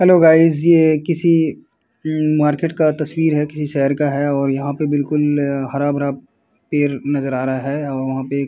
Hello guys ये किसी um market का तस्वीर है। किसी शहर का हैं और यहाँ पर बिलकुल हरा-भरा पेड़ नजर आ रहा है और वहाँ पर एक --